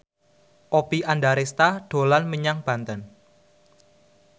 Oppie Andaresta dolan menyang Banten